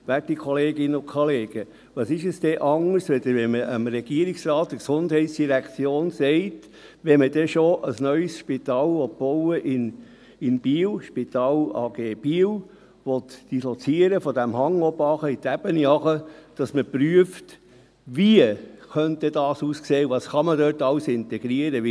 Werte Kolleginnen und Kollegen, was ist es denn anderes, als wenn man dem Regierungsrat, der Gesundheitsdirektion sagt: Wenn man denn schon ein neues Spital in Biel bauen will – Spital AG Biel –, von diesem Hang runter in die Ebene dislozieren will, dann prüft man, wie das aussehen und was man dort alles integrieren könnte.